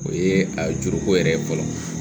O ye a juruko yɛrɛ ye fɔlɔ